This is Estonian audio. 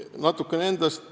Natukene endast.